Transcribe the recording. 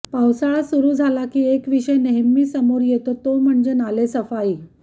पावसाळा सुरू झाला की एक विषय नेहमी समोर येतो तो म्हणजे नालेसफाई